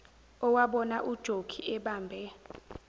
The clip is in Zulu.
owabona ujokhi ebambe